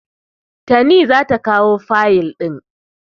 Tani za ta kawo fayil ɗin.